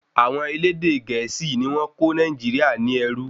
Àwọn elédè gẹ̀ésì ni wọ́n kó Nàìjíríà ní ẹrú